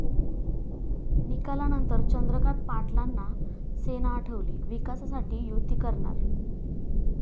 निकालानंतर चंद्रकांत पाटलांना सेना आठवली, विकासासाठी युती करणार!